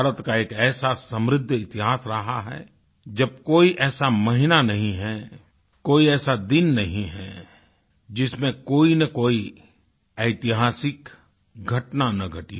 भारत का एक ऐसा समृद्ध इतिहास रहा है जब कोई ऐसा महीना नहीं है कोई ऐसा दिन नहीं है जिसमें कोईनकोई ऐतिहासिक घटना न घटी हो